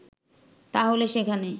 তাহলে সেখানে